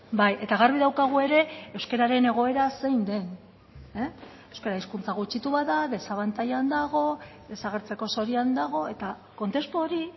bai eta garbi daukagu ere euskararen egoera zein den euskara hizkuntza gutxitu bat da desabantailan dago desagertzeko zorian dago eta kontestu hori